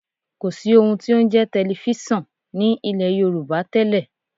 Kò sí ohun tí ó ń jẹ́ tẹlifísàn ní ilẹ̀ Yorùbá tẹ́lẹ̀